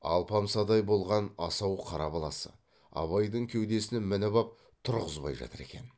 алпамсадай болған асау қара баласы абайдың кеудесіне мініп ап тұрғызбай жатыр екен